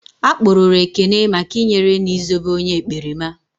A kpụrụru Ekene maka i nyere na Ị zobe onye ekperima